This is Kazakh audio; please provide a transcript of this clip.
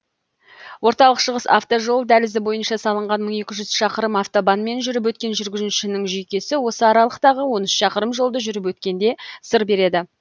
орталық шығыс автожол дәлізі бойынша салынған мың екі жүз шақырым автобанмен жүріп өткен жүргізушінің жүйкесі осы аралықтағы он үш шақырым жолды жүріп өткенде сыр береді